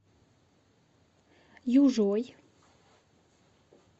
южой